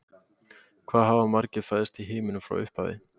Hvað hafa margir fæðst í heiminum frá upphafi?